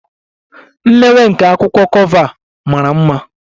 The imewe nke a akwụkwọ cover bụ mara mma.